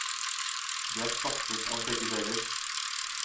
Det er stappfullt av begge deler.